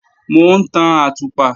Mò ń tan àtùpà